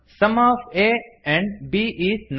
some of a and b is nine